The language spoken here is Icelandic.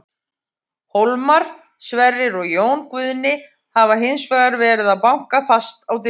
Hólmar, Sverrir og Jón Guðni hafa hins vegar verið að banka fast á dyrnar.